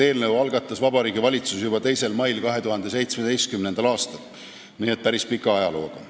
Eelnõu algatas Vabariigi Valitsus juba 2. mail 2017. aastal, nii et päris pika ajalooga eelnõu.